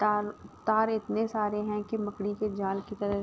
ताल तार इतने सारे हैं कि मकड़ी की जाल की तरह --